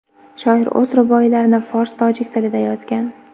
Shoir o‘z ruboiylarini fors-tojik tilida yozgan.